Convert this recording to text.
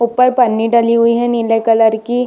ऊपर पन्नी डली हुई है नीले कलर की।